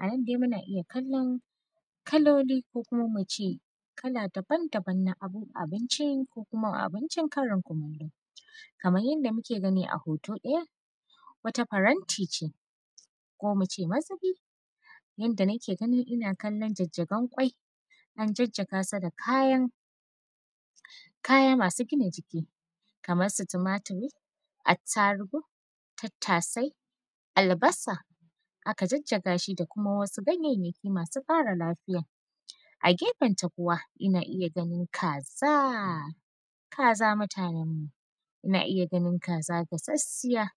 Anan dai muna iya kallon kaloli ko kuma ince kala daban-daban na abinci ko kuma abincin Karin kumallo, kamar yadda muke gani a hoto ɗaya wata faranti ce ko muce mazubi yadda nake ganin ina kalan jajjagen kwai an jajjaga su da kaya masu gina jiki kamar su tumaturi attarugu, tattasau, albasa aka jajjaga shi da wasu ganyayyaki masu kara lafiya a gefanta kuwa ina iya ganin kaza kaza mutanan mu ina iya ganin kaza gashashiya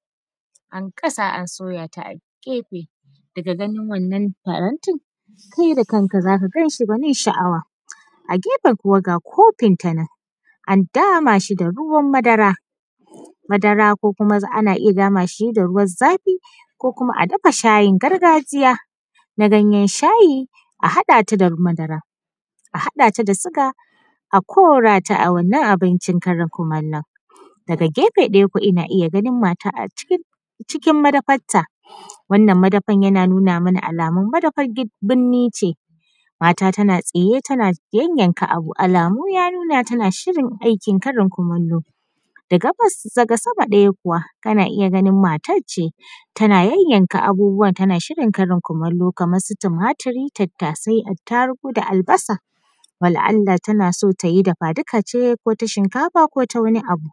an gasa an soya ta a gefe daga ganin wannan faranti kai da kanka zaka gan shi gwanin sha’awa a gefen kuma ga kofin ta nan an dama shi da ruwan madara madara ko ana iya dama shi da ruwan zafi ko kuma a dafa shayin gargajiya na ganyan shayi a haɗa ta da madara a haɗa ta da siga a korata a wannan abincin Karin kumalon, daga gefe ɗaya kuma ina iya ganin mata a cikin madafan ta wannan madafan yana nuna mana alamun madafan birni ce mata tana tsaye tana yanyanka abu alamu ya nuna tana shirin aikin Karin kumallo daga gabas daga sama ɗaya kuwa ana iya ganin matar ce tana yanyanka abubuwa tana shirin Karin kumallo kamar su tumaturi tattasai, atarugu da albasa wala’allah tana so tayi dafaduka ce ko ta shinkafa ko ta wani abu,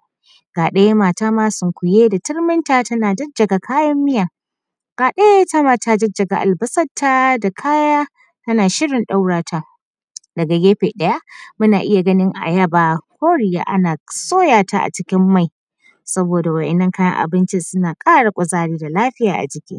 ga ɗaya mata sunkuye da turminta tana jajjaga kayan biya, ga ɗaya itama ta jajjage albas an ta da kaya ana shirin ɗaura ta daga gefe ɗaya muna iya ganin ayaba koriya ana soya ta a cikin mai saboda waɗannan kayan abincin suna kara kuzari da lafiya a jiki.